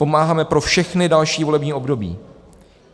Pomáháme pro všechna další volební období.